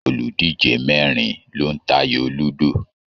Oludije mẹrin lo n t'ayo ludo.